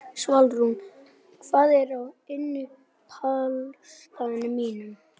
Magnús: Þannig að þú vilt fylla upp í skurðina?